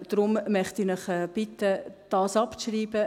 Deshalb möchte ich Sie bitten, dies abzuschreiben.